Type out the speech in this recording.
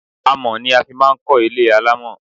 Amọ̀ ni a máa fi ń kó ilé alamo.